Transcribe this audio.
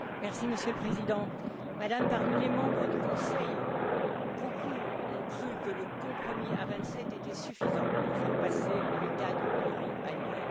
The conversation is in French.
Monsieur le Président, Madame, parmi les membres du Conseil, beaucoup ont cru que le compromis à vingt sept était suffisant pour faire passer le cadre pluriannuel.